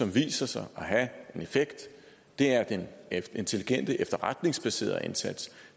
viser sig at have en effekt er den intelligente efterretningsbaserede indsats